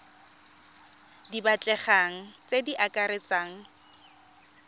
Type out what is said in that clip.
di batlegang tse di akaretsang